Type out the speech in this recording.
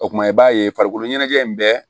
O kumana i b'a ye farikolo ɲɛnajɛ in bɛɛ